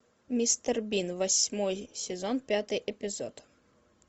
мистер бин восьмой сезон пятый эпизод